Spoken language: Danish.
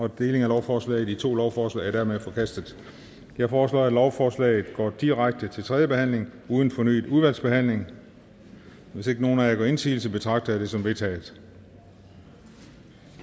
af lovforslaget i to lovforslag er dermed forkastet jeg foreslår at lovforslaget går direkte til tredje behandling uden fornyet udvalgsbehandling hvis ikke nogen af jer gør indsigelse betragter jeg det som vedtaget